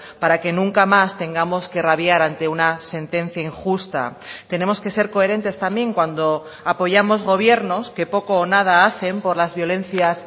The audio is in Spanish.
para que nunca más tengamos que rabiar ante una sentencia injusta tenemos que ser coherentes también cuando apoyamos gobiernos que poco o nada hacen por las violencias